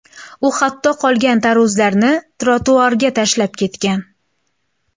U hatto qolgan tarvuzlarni trotuarga tashlab ketgan.